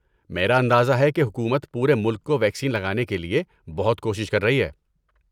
میرا اندازہ ہے کہ حکومت پورے ملک کو ویکسین لگانے کے لیے بہت کوشش کر رہی ہے۔